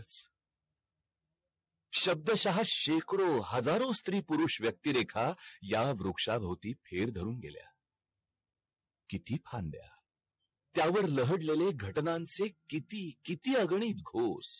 शब्द शहा शेकडो हजारो स्त्री पुरुष व्यक्ती रेखा या वृक्षा वृत्ती फेर धरून गेल्या किती फांद्या त्या वर ल्हड लेल्या घटनांचे किती किती अग्नी घोष